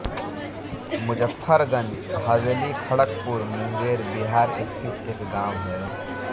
मुजफ्फरगंज हवेलीखड़गपुर मुंगेर बिहार स्थित एक गाँव है